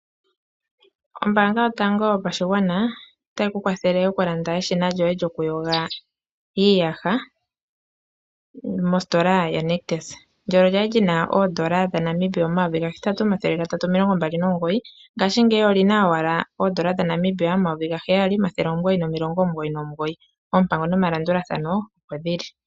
Ombanga yotango yopashigwana otayi ku kwathele okulanda eshina lyoye lyokuyoga iiyaha mositola yaNictus, ndyono lyali lina oodola dhaNamibia omayovi gahetatu omathele gatatu omilongo mbali nomugoyi ngashi ngeyi olina owala oodola dhaNamibia omayovi gaheyali omathele omugoyi nomilongo omugoyi nomugoyi oompango nomalandulathano opo dhili.